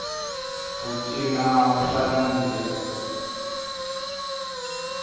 ku cina swa nandziha